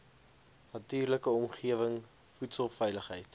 natuurlike omgewing voedselveiligheid